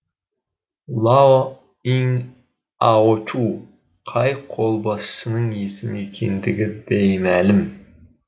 лао иң аочу қай қолбасшының есімі екендігі беймәлім